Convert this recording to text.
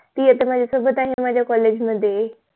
ती आता माझा सोबत आहे माझा COLLEGE मध्ये